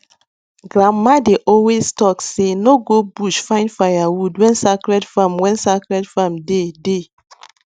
grandma dey always talk say no go bush find firewood when sacred farm when sacred farm day dey